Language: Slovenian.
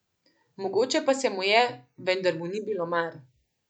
Mogoče pa se mu je, vendar mu ni bilo mar.